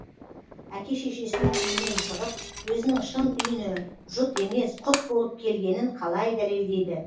әке шешесінің үйінен шығып өзінің шын үйіне жұт емес құт болып келгенін қалай дәлелдейді